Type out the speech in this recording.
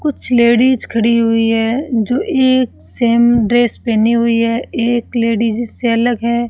कुछ लेडिस खड़ी हुई है जो एक सेम ड्रेस पहनी हुई है एक लेडिस इससे अलग है।